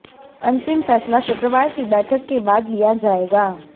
अंतिम फैसला शुक्रवार की बैठक के बाद लिया जाएगा